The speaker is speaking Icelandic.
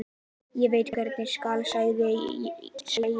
Ég veit ekki hvað skal segja.